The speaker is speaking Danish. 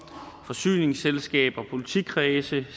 forsyningsselskaber politikredse